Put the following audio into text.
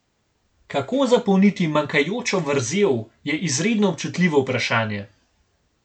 Kako zapolniti manjkajočo vrzel, je izredno občutljivo vprašanje.